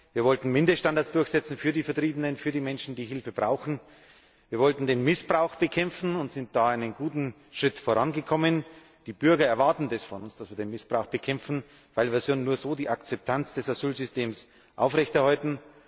Wir wollten Mindeststandards durchsetzen für die Vertriebenen, für die Menschen, die Hilfe brauchen. Wir wollten den Missbrauch bekämpfen und sind dabei einen guten Schritt vorangekommen. Die Bürger erwarten von uns, dass wir den Missbrauch bekämpfen, weil wir ja nur so die Akzeptanz des Asylsystems aufrechterhalten.